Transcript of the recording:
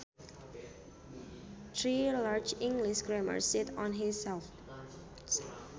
Three large English grammars sit on his shelf